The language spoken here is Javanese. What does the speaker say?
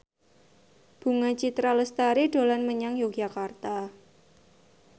Bunga Citra Lestari dolan menyang Yogyakarta